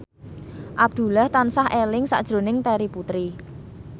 Abdullah tansah eling sakjroning Terry Putri